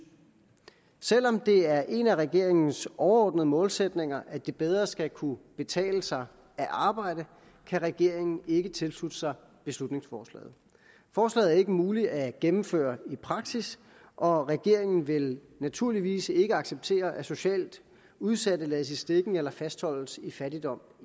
selv om det er en af regeringens overordnede målsætninger at det bedre skal kunne betale sig at arbejde kan regeringen ikke tilslutte sig beslutningsforslaget forslaget er ikke muligt at gennemføre i praksis og regeringen vil naturligvis ikke acceptere at socialt udsatte lades i stikken eller fastholdes i fattigdom